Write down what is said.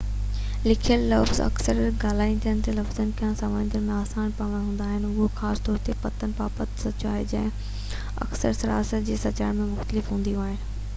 لکيل لفظ اڪثر ڳالهائينجندڙ لفظن کان سمجهڻ ۾ آسان پڻ هوندا آهن اهو خاص طور تي پتن بابت سچ آهي جيڪي اڪثر صراحت سان اچارڻ ۾ مشڪل هونديون آهن